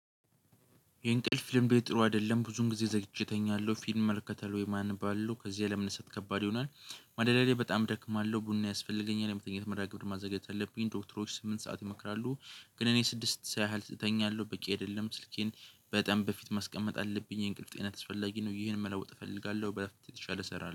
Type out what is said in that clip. የእንቅልፍ ልምዴ ጥሩ አደለም ብዙን ጊዜ ዘግይቼ እተኛለሁ ፊልም እመለከታለሁ ወይም አነባለው ከዚያ ለመነሳት ከባድ ይሆናል። ማደሪያየ ላይ በጣም እደክማለሁ ቡና ያስፈልገኛል የመተኛት መርሃግብር ማዘጋጀት አለብኝ ዶክተሮች ስምንት ሰዓት ይመክራሉ። ግን እኔ ስድስት ስዓት እተኛለሁ በቂ አይደለም ስልኬን በጣም በፊት ማስቀመጥ አለብኝ የእንቅልፍ ጤንነት አስፈላጊ ነው። ይሄን መለወጥ እፈልጋለሁ በ የተሻለ እሰራለሁ